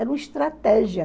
Era uma estratégia.